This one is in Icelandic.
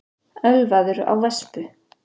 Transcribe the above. Ölvaður á vespu